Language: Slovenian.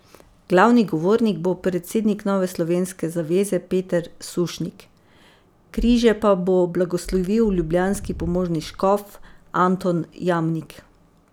Glavni govornik bo predsednik Nove slovenske zaveze Peter Sušnik, križe pa bo blagoslovil ljubljanski pomožni škof Anton Jamnik.